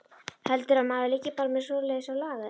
Heldurðu að maður liggi bara með svoleiðis á lager.